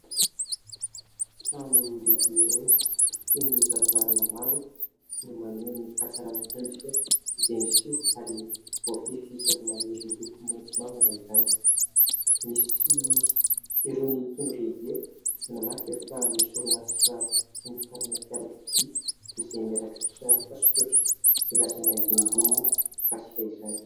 Trano lehibe iray feno varavarana maro no maneho ny hatsarana hendrika izay miseho ary voafefy zava_maniry miloko maitso mavana izany, misy irony tondro lehibe manamarika fa misy orinasa famokarana fiarakodia izay mirakitra soratra milaza ny andinindininy mikasika izany.